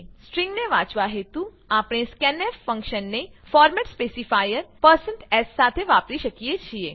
સ્ટ્રીંગને વાંચવા હેતુ આપણે scanf ફંક્શનને ફોર્મેટ સ્પેસીફાયર s સાથે વાપરી શકીએ છીએ